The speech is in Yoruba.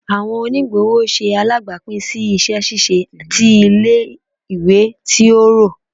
Awọn onigbọwọ ṣe alabapin si iṣẹ ṣiṣe ti ile-iwe ti o rọ